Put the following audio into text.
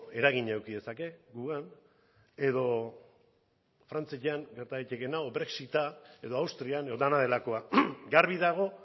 eragina eduki dezake guregan edo frantzian gerta litekeena edo brexita edo austrian edo dena delakoa garbi dago